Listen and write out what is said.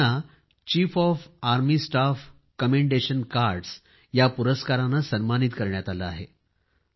आणि त्यांना chief of army staff commendation cards या पुरस्काराने सन्मानित करण्यात आलं आहे